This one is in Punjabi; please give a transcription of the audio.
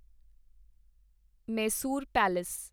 ਮੈਸੂਰ ਪੈਲੇਸ